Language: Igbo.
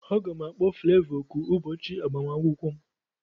Aga m akpọ Flevọ oku ụbọchị agbamakwụkwọ m